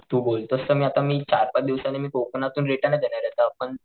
तू बोलतोस तर मी आता मी चार पाच दिवसांनी मी कोकणातून रिटर्नच येणारे तर आपण,